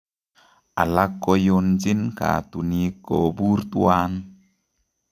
Alak koiyonjin kaatunik kobuur twan